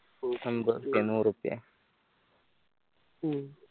അമ്പതുറപ്പിയ നൂറുറുപ്പിയ ഉം